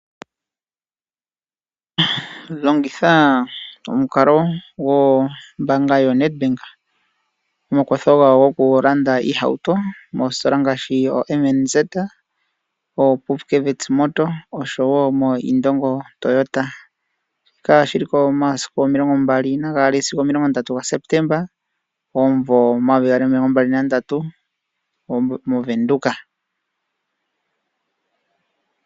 Longitha omukalo gwombaanga yoNedbank nomakwatho gawo gokulanda iihauto moositola ngaashi oM&Z, oPupkewitz Motors noIndongo Toyota. Shika oshi li ko momasiku 22 sigo 30 gaSeptemba 2033 mOvenduka.